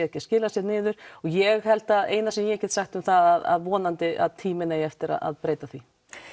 ekki að skila sér niður og ég held að eina sem ég get sagt um það er að vonandi að tíminn eigi eftir að breyta því